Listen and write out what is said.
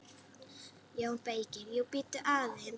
JÓN BEYKIR: Jú, bíddu aðeins!